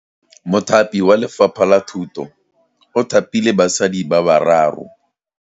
Mothapi wa Lefapha la Thutô o thapile basadi ba ba raro.